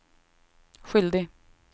skyldig